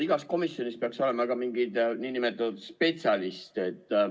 Igas komisjonis peaks olema ka mingi nn spetsialist.